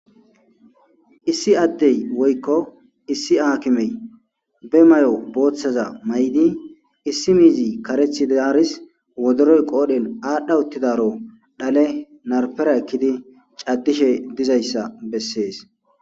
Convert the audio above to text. Issi addey woykko issi aakimey be mayo booththaza mayidi issi miizi kareththi dizarisi wodoro qoodhen aadhdha uttidaaro dhale narfera ekkidi caddishe dizayssa besses.